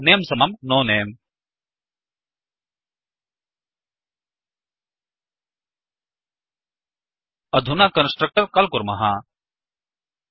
अपि च नमे समम् नो नमे अधुना कन्स्ट्रक्टर् काल् कुर्मः